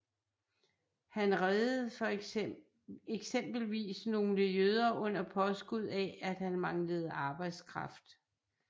Han reddede eksempelvis nogle jøder under påskud af at han manglede arbejdskraft